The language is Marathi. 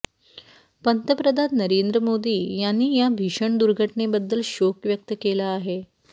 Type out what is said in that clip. पंतप्रधान नरेंद्र मोदी यांनी या भीषण दुर्घटनेबद्दल शोक व्यक्त केला आहे